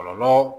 Kɔlɔlɔ